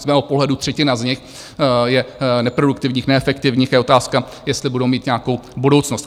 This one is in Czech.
Z mého pohledu třetina z nich je neproduktivních, neefektivních, je otázka, jestli budou mít nějakou budoucnost.